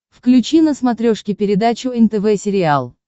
включи на смотрешке передачу нтв сериал